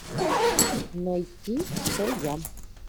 найти кто я